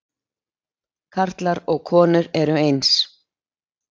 Karlar og konur eru eins